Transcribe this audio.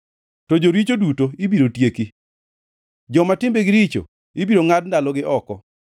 To joricho duto ibiro tieki, joma timbegi richo ibiro ngʼad ndalogi oko.